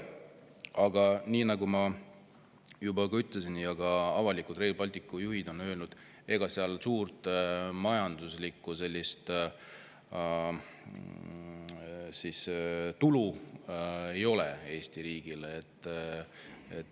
Aga nagu ma juba ütlesin ja ka Rail Balticu juhid on avalikult öelnud, ega sealt suurt majanduslikku tulu Eesti riigile ei tule.